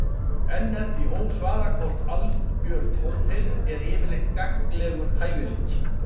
Enn er því ósvarað hvort algjör tónheyrn er yfirleitt gagnlegur hæfileiki.